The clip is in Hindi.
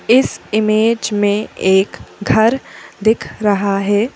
इस इमेज में एक घर दिख रहा है।